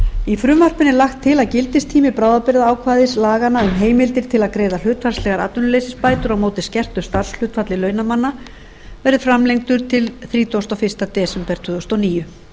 í frumvarpinu er lagt til að gildistími bráðabirgðaákvæðis laganna um heimildir til að greiða hlutfallslegar atvinnuleysisbætur á móti skertu starfshlutfalli launamanna verði framlengdur til þrítugasta og fyrsta desember tvö þúsund og níu